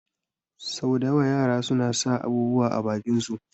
Sau da yawa yara suna sa abubuwa a bakin su